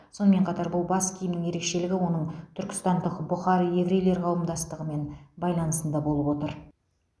сонымен қатар бұл бас киімнің ерекшелігі оның түркістандық бұхар еврейлер қауымдастығымен байланысында болып отыр